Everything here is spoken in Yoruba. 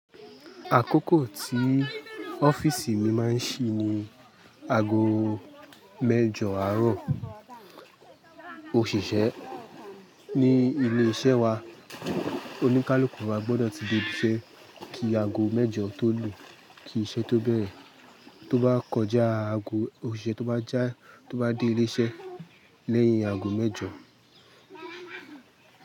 Àkókò tí ọ́fiìsì mi máa ń ṣí ni aago mẹ́jọ àárọ̀. Òṣìṣẹ́ ní ilé iṣẹ́ wa, oníkálukú wa gbọ́dọ̀ ti dé ibi iṣẹ́ kí aago mẹ́jọ tó lù. Kí iṣẹ́ tó bẹ̀rẹ̀, tó bá kọjá aago, òṣìṣẹ́ tó bá já, tó bá dé ilé iṣẹ́ lẹ́yìn aago mẹ́jọ.